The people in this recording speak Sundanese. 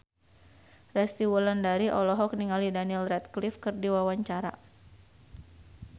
Resty Wulandari olohok ningali Daniel Radcliffe keur diwawancara